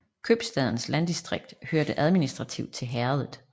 Købstadens landdistrikt hørte administrativt til herredet